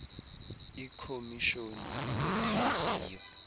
ikhomis honi yothaziyo